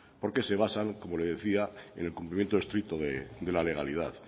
porque se basan como le decía en el cumplimiento estricto de la legalidad